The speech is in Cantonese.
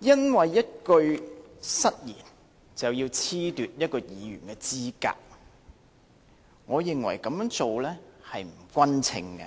因為一句失言，便要褫奪一位議員的資格，我認為這樣做不勻稱，